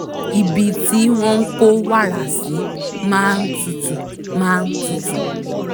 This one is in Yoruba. ibi tí wọ́n kó wàrà sí máa tutù máa tutù